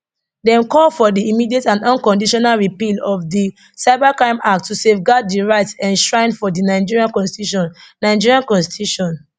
dem call for di immediate and unconditional repeal of di cybercrime act to safeguard di rights enshrined for di nigerian constitution nigerian constitution